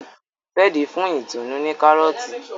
Fred fún Itunu ní Kárọ́ọ̀tì